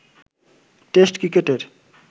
test ক্রিকেটের